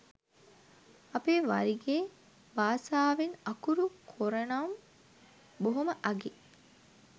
අපේ වරිගේ බාසාවෙන් අකුරු කොරනම් බොහොම අගෙයි